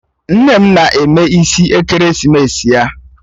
Nne m na-eme isi ekeresimesi ya